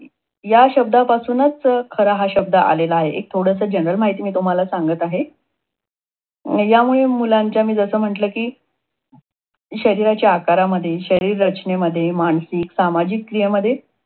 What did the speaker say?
ह्या शब्दापासूनच खरा हा शब्द आलेला आहे. एक थोडस general माहिती मी तुम्हाला सांगत आहे. यामुळे मुलाचं मी म्हटल कि शरीराच्या आकारामध्ये, शरीर रचेनेमध्ये, मानसिक, सामाजिक क्रियेमध्ये